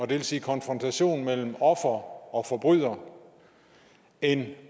vil sige konfrontation mellem offer og forbryder end